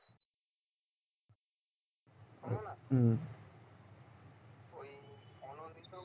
হুম